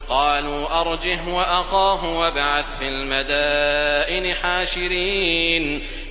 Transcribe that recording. قَالُوا أَرْجِهْ وَأَخَاهُ وَابْعَثْ فِي الْمَدَائِنِ حَاشِرِينَ